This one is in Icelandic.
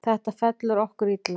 Þetta fellur okkur illa.